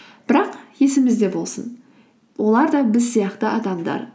бірақ есімізде болсын олар да біз сияқты адамдар